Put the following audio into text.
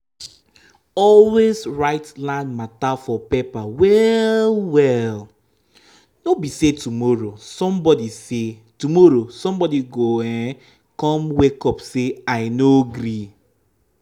always write land matter for paper well-well—no be say tomorrow somebody say tomorrow somebody go um come wake up say ‘i no agree.